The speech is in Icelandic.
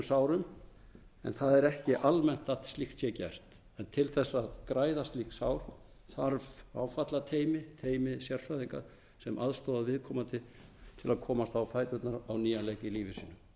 sárum en það er ekki almennt að slíkt sé gert en til þess að græða slík sár þarf áfallateymi teymi sérfræðinga sem aðstoða viðkomandi til að komast á fæturna á nýjan leik í lífi sínu bæði